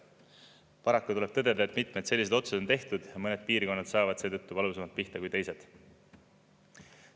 Paraku tuleb tõdeda, et mitmed sellised otsused on tehtud ja mõned piirkonnad saavad seetõttu valusamalt pihta kui teised.